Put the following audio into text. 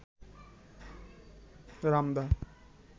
রামদা-